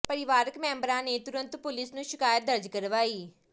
ਪਰਿਵਾਰਕ ਮੈਂਬਰਾਂ ਨੇ ਤਰੁੰਤ ਪੁਲਿਸ ਨੂੰ ਸ਼ਿਕਾਇਤ ਦਰਜ ਕਰਵਾਈ